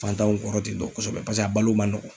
Fantanw kɔrɔ ten tɔ kosɛbɛ, paseke a balo man nɔgɔ.